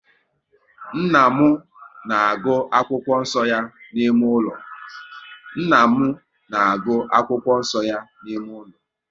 Nna m na agụ akwụkwọ nso ya n'ime ụlọ